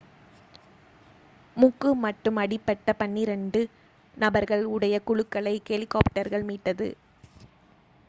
மூக்கு மட்டும் அடிபட்ட பன்னிரண்டு நபர்கள் உடைய குழுக்களை ஹெலிகாப்டர்கள் மீட்டது